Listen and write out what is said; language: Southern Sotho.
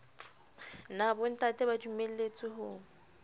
na bontate ba dumelletswe ho